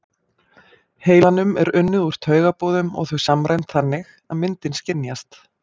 heilanum er unnið úr taugaboðum og þau samræmd þannig að myndin skynjast.